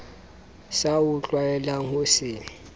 sa o tlwaelang ho se